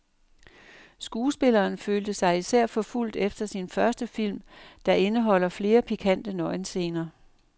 Skuespilleren følte sig især forfulgt efter sin første film, der indeholder flere pikante nøgenscener.